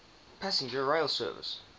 passenger rail service